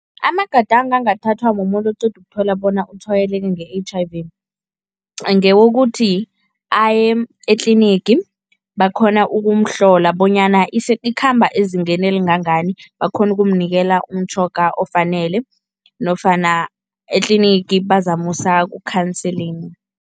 Amagadango angathathwa mumuntu oqeda ukuthola bona utshwayeleke nge-H_I_V ngewokuthi aye etlinigi, bakghona ukumhlola bonyana ikhamba ezingeni elingangani, bakghone ukumvikela umtjhoga ofanele nofana etlinigi bazamusa ku-counseling.